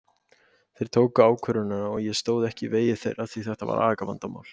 Þeir tóku ákvörðunina og ég stóð ekki í vegi þeirra því að þetta var agavandamál.